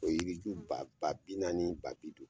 O yiri ju ba ba bi naani ni ba bi duuru.